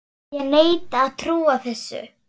Ég neita að trúa þessu.